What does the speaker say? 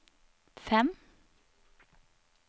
fem